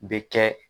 Bɛ kɛ